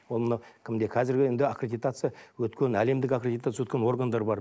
ол мына кімде қазіргі енді аккредитация өткен әлемдік аккредитация өткен органдар бар